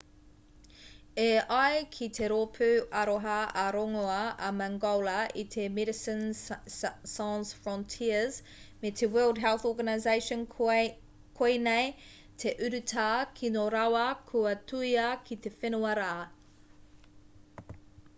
e ai ki te rōpū aroha ā-rongoā a mangola i te medecines sans frontieres me te world health organisation koinei te urutā kino rawa kua tuhia ki te whenua rā